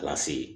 A b'a sigi